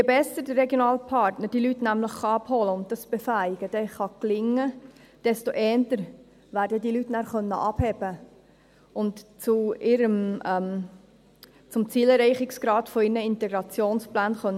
Je besser der regionale Partner diese Leute nämlich abholen und dieses Befähigen dann gelingen kann, desto eher werden diese Leute dann abheben und zum Zielerreichungsgrad ihrer Integrationspläne beitragen können.